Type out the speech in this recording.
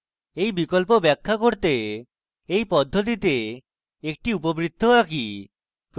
এই বিকল্প ব্যাখ্যা করতে এই পদ্ধতিতে একটি উপবৃত্ত আঁকি